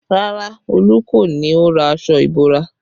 Rárá, Olu kọ́ ni ó ra aṣọ ìbora